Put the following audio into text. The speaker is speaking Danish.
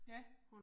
Ja